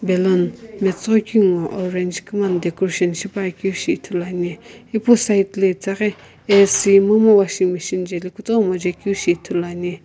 baloon matsoghoi keu ngho orange koina decoration shipakeu shi ithulu ane ipu side lo itaghi ac momu washing machine jaeli kutomo jae keu shi ithulu ane.